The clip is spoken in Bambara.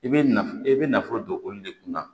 I bɛ naf i bɛ nafolo don olu de kunna